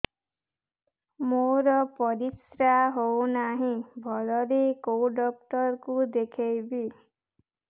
ମୋର ପରିଶ୍ରା ହଉନାହିଁ ଭଲରେ କୋଉ ଡକ୍ଟର କୁ ଦେଖେଇବି